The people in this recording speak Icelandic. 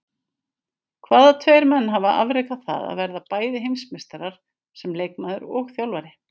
Hvaða tveir menn hafa afrekað það að verða bæði heimsmeistarar sem leikmaður og þjálfari?